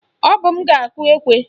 Ọ bụ m ga-akụ ekwe